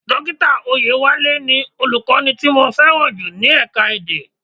Dókítà Oyewale ni Olùkọ́ni tí mo fẹ́ràn jù ní ẹ̀ka-èdè.